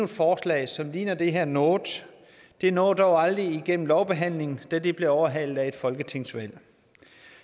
forslag som ligner det her noget det nåede dog aldrig igennem lovbehandlingen da det blev overhalet af et folketingsvalg